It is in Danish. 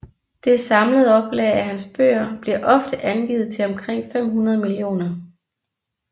Det samlede oplag af hans bøger bliver ofte angivet til omkring 500 millioner